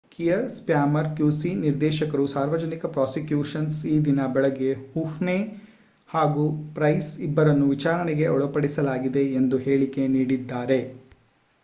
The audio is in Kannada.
ಕಿಯರ್ ಸ್ಪಾರ್ಮರ್ qc ನಿರ್ದೇಶಕರು ಸಾರ್ವಜನಿಕ ಪ್ರಾಸಿಕ್ಯೂಷ ನ್ಸ್ ಈದಿನ ಬೆಳಿಗ್ಗೆ ಹುಹ್ನೆ ಹಾಗೂ ಪ್ರೈಸ್ ಇಬ್ಬರನ್ನೂ ವಿಚಾರಣೆಗೆ ಒಳಪಡಿಸಲಾಗಿದೆ ಎಂಬ ಹೇಳಿಕೆ ನೀಡಿದ್ದಾರೆ